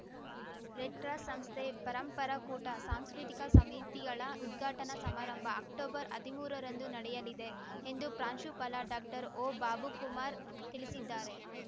Red Cross ಸಂಸ್ಥೆ ಪರಂಪರಾ ಕೂಟ ಸಾಂಸ್ಕೃತಿಕ ಸಮಿತಿಗಳ ಉದ್ಘಾಟನಾ ಸಮಾರಂಭ ಅಕ್ಟೊಬರ್ಹದಿಮೂರರಂದು ನಡೆಯಲಿದೆ ಎಂದು ಪ್ರಾಂಶುಪಾಲ ಡಾಕ್ಟರ್ಓಬಾಬುಕುಮಾರ್‌ ತಿಳಿಸಿದ್ದಾರೆ